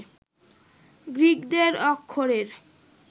গ্রিকদের অক্ষরের